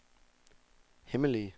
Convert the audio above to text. hemmelige